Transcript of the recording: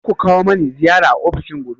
Kar ku kawo mani ziyara a ofishina gobe.